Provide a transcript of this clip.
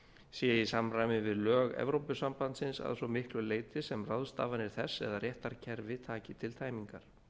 sé í samræmi við lög evrópusambandsins að svo miklu leyti sem ráðstafanir leiða til þess eða réttarkerfi taki til tæmingar